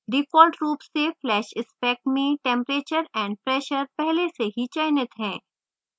default रूप से flash spec में temperature and pressure पहले से ही चयनित है